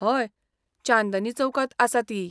हय, चांदनी चौकांत आसा ती.